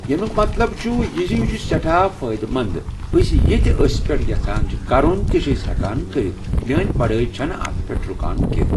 یٔمُیٚک مطلب چُھ یہِ زِ یہِ چُھ سٮ۪ٹھاہ فٲیدٕہ منٛدأسۍ یہِ تہِ أسۍ پیٹھ یژھان چھِ کرُن تہِ چھِ ہیکان کرتھ میٲنۍ پڑاے چھنہٕ اتھ پیٹھ رُکان کیٚنٛہہ